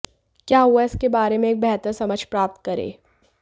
क्या हुआ इसके बारे में एक बेहतर समझ प्राप्त करें